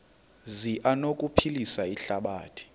zi anokuphilisa ihlabathi